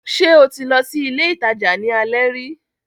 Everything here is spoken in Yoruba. Ṣé o ti lọ sí ilé ìtajà ní alẹ́ rí?